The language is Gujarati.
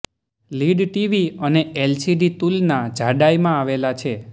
લીડ ટીવી અને એલસીડી તુલના જાડાઈ માં આવેલા છે